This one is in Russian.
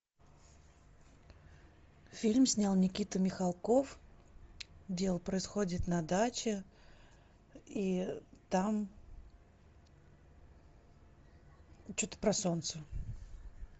фильм снял никита михалков дело происходит на даче и там что то про солнце